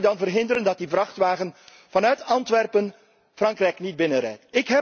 Hoe gaat u dan verhinderen dat die vrachtwagen vanuit Antwerpen Frankrijk binnenrijdt?